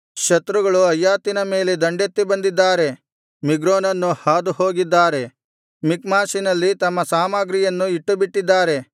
ಶತ್ರುಗಳು ಅಯ್ಯಾಥಿನ ಮೇಲೆ ದಂಡೆತ್ತಿ ಬಂದಿದ್ದಾರೆ ಮಿಗ್ರೋನನ್ನು ಹಾದುಹೋಗಿದ್ದಾರೆ ಮಿಕ್ಮಾಷಿನಲ್ಲಿ ತಮ್ಮ ಸಾಮಗ್ರಿಯನ್ನು ಇಟ್ಟುಬಿಟ್ಟಿದ್ದಾರೆ